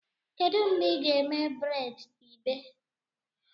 Kedu mgbe ị ga-eme braids igbe?